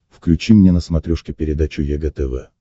включи мне на смотрешке передачу егэ тв